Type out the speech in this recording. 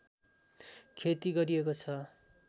खेती गरिएको छ